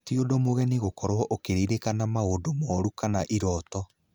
Tĩ ũndũ mũgeni gũkorwo ũkĩririkana maũndũ moru kana iroto.